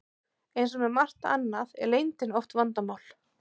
Eins og með margt annað er leyndin oft vandamál.